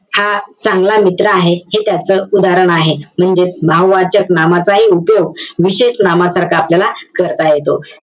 हा चांगला मित्र आहे हे त्याच उदाहरण आहे. म्हणजेच भाववाचक नामाचाही उपयोग विशेष नामसारखा याला करता येतो.